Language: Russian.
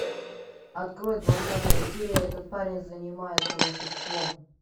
открой двадцатая серия этот парень занимается волшебством